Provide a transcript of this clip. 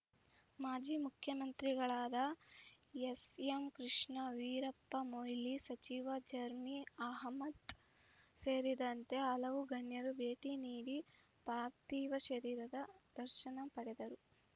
ಮಾಜಿ ಮುಖ್ಯಮಂತ್ರಿಗಳಾದ ಎಸ್‌ಎಂಕೃಷ್ಣ ವೀರಪ್ಪಮೊಯ್ಲಿ ಸಚಿವ ಜರ್ಮಿ ಅಹ್ಮದ್‌ ಸೇರಿದಂತೆ ಹಲವು ಗಣ್ಯರು ಭೇಟಿ ನೀಡಿ ಪಾರ್ಥಿವ ಶರೀರದ ದರ್ಶನ ಪಡೆದರು